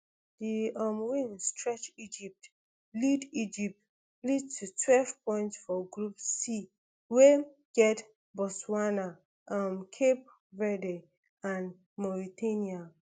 di um win stretch egypt lead egypt lead to twelve points for group c wey get botswana um cape verde and mauritania